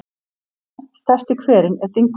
Næststærsti hverinn er Dynkur.